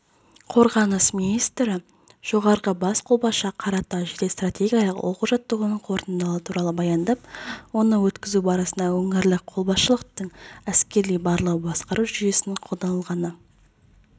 қорғаныс министрі жоғарғы бас қолбасшыға қаратау жедел-стратегиялық оқу-жаттығуының қорытындылары туралы баяндап оны өткізу барысында өңірлік қолбасшылықтың әскери барлау-басқару жүйесінің қолданылғаны